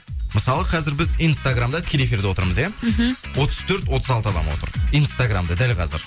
мысалы қазір біз инстаграммда тікелей эфирда отырмыз ия мхм отыз төрт отыз алты адам отыр инстаграммда дәл қазір